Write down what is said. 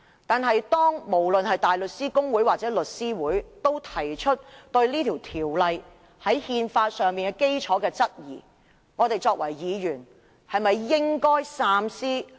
但是，當大律師公會或香港律師會都對《條例草案》的憲法基礎提出質疑，我們作為議員，是否也應該三思？